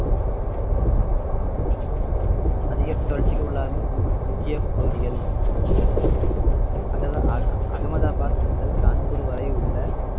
அதிக வறட்சிக்கு உள்ளாகும் மு~ முக்கிய பகுதிகள் அக~ அக~ அகமதாபாத் முதல் கான்பூர் வரை உள்ள